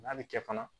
N'a bɛ kɛ fana